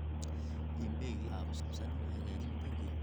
iimayl abo ku saabsan hagajinta garigeeyga